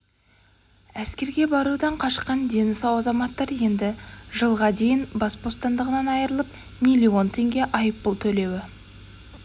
әскерге барудан қашқан дені сау азаматтар енді жылға дейін бас бостандығынан айырылып миллион теңге айыппұл төлеуі